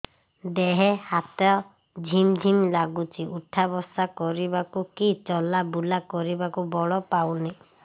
ଦେହେ ହାତ ଝିମ୍ ଝିମ୍ ଲାଗୁଚି ଉଠା ବସା କରିବାକୁ କି ଚଲା ବୁଲା କରିବାକୁ ବଳ ପାଉନି